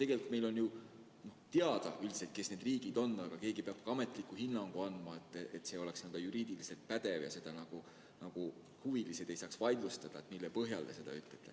Tegelikult meil on ju teada, kes need riigid on, aga keegi peab ka ametliku hinnangu andma, et see oleks ka juriidiliselt pädev ja huvilised ei saaks vaidlustada seda, mille põhjal me nii ütleme.